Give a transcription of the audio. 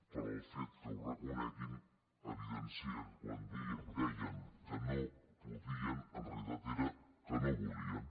però el fet que ho reconeguin evidencia que quan deien que no podien en realitat era que no volien